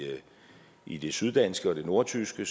i det syddanske og det nordtyske